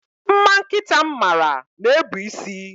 Mma nkịta m mara na-ebu isi